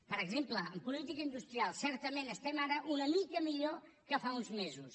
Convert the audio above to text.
per exemple en política industrial certament estem ara una mica millor que fa uns mesos